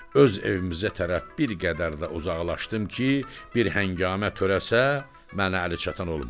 Öz evimizə tərəf bir qədər də uzaqlaşdım ki, bir həngamə törəsə mənə əli çatan olmasın.